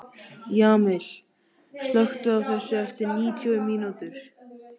Jamil, slökktu á þessu eftir níutíu mínútur.